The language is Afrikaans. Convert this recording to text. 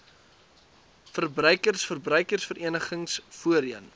verbruikers verbruikersverenigings voorheen